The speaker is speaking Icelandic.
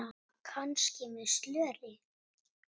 Ha, kannski með slöri?